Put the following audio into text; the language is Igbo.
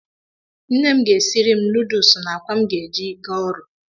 Nne m ga-esiri m nudusụna akwa m ga-eji gaa ọrụ.